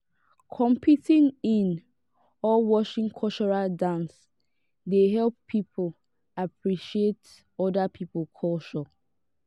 competing in or watching cultural dance dey help pipo appreciate oda pipo culture